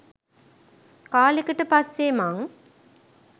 කාලෙකට පස්සේ මං .